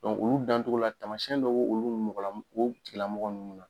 olu dan cogo la tamasiyɛn dɔw bɛ olu mɔgɔ lamɔgɔ o tigi lamɔgɔ ninnu na.